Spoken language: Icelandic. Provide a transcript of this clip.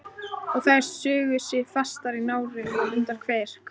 Og þær sugu sig fastar í nára og undir kverk.